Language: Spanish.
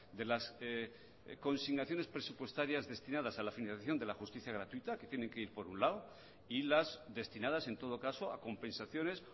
de las consignaciones presupuestarias destinadas a la financiación de la justicia gratuita que tiene que ir por un lado y las destinadas en todo caso a compensaciones